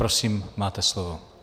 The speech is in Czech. Prosím, máte slovo.